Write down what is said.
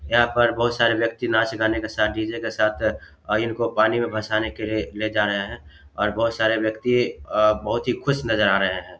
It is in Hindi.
यहाँ पर बहुत सारे व्यक्ति नाच गाने के साथ डी.जे. के साथ और इनको पानी में भसाने के लिए ले जा रहे हैं और बहुत सारे व्यक्ति अअ बहुत ही खुश नजर आ रहे हैं।